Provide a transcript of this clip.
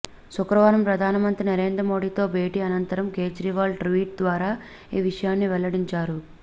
శుక్రవారం ప్రధానమంత్రి నరేంద్ర మోడీతో భేటీ అనంతరం కేజ్రీవాల్ ట్వీట్ ద్వారా ఈ విషయాన్ని వెల్లడించారు